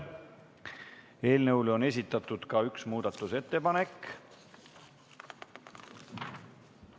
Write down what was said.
Eelnõu kohta on esitatud ka üks muudatusettepanek.